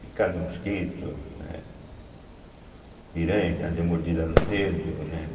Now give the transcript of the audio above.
Picada de mosquito, né, Piranha, que já deu mordida no dedo, né?